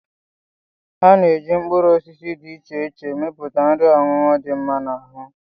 Ana-eji mkpụrụosisi dị iche iche emepụta nri ọṅụṅụ dị mma n'ahụ